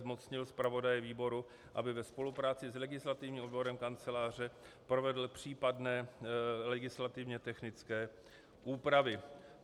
Zmocnil zpravodaje výboru, aby ve spolupráci s legislativním odborem Kanceláře provedl případné legislativně technické úpravy.